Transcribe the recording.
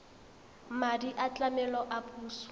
madi a tlamelo a puso